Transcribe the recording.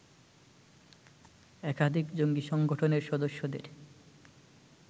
একাধিক জঙ্গি সংগঠনের সদস্যদের